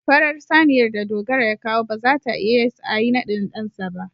farar saniyar da Dogara ya kawo ba za ta ias a Yi nadin dansa ba.